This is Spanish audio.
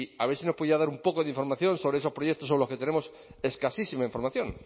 a ver si nos pudiera dar un poco de información sobre esos proyectos sobre los que tenemos escasísima información